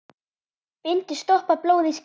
Bindi stoppar blóð í skyndi.